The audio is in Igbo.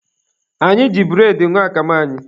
Anyị ji bụredị ṅụọ akamụ anyị.